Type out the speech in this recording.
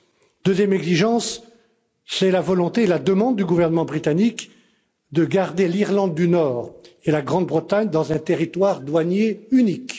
La deuxième exigence, c'est la volonté et la demande du gouvernement britannique de garder l'Irlande du Nord et la Grande Bretagne dans un territoire douanier unique.